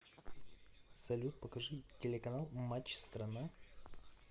салют покажи телеканал матч страна